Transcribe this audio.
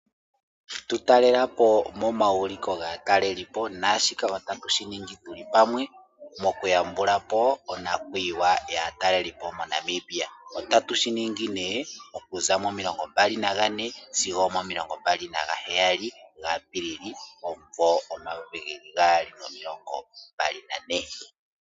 Tu talelapo moma wuliko gatalelipo naashika ota tu shiningi tuli pamwe mo kuya mbula po onakuyiwa ya taleli po moNamibia ota tu shinigi okuza 24 sigo 27 gaAapilili 2024.